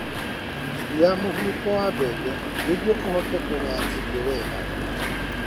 Iria mũbuto wa mbembe nĩguo ũhote kũgaya irio wega.